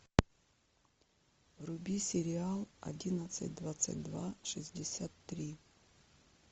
вруби сериал одиннадцать двадцать два шестьдесят три